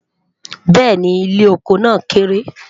béèni, ilé ọkọ nà kéré